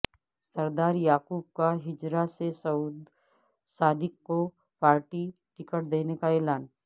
سردار یعقوب کا ہجیرہ سے سعود صادق کو پارٹی ٹکٹ دینے کا اعلان